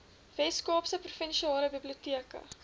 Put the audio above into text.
weskaapse provinsiale biblioteke